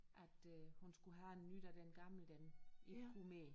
At øh hun skulle have en ny da den gamle den ikke kunne mere